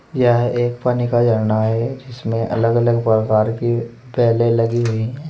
यह एक पानी का झरना है जिसमें अलग अलग प्रकार के लगी हुई है।